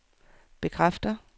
bekræfter